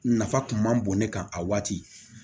Nafa kun man bon ne kan a waati